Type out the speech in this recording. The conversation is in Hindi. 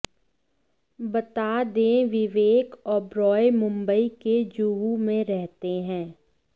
बता दें विवेक ओबरॉय मुंबई के जुहू में रहते हैं